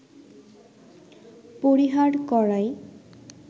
পরিহার করাই